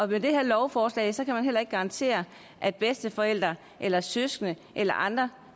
med det her lovforslag kan man heller ikke garantere at bedsteforældre eller søskende eller andre